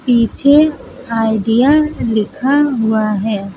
पीछे आइडिया लिखा हुआ है।